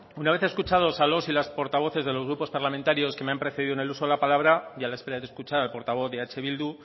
una vez escuchados a los y las portavoces de los grupos parlamentarios que me han precedido en el uso de la palabra y a la espera de escuchar al portavoz de eh bildu